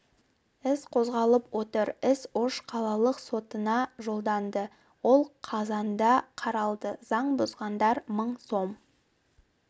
іс қозғалып отыр іс ош қалалық сотына жолданды ол қазанда қаралады заң бұзғандар мың сом